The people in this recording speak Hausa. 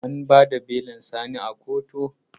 An ba da belin Sani a koto?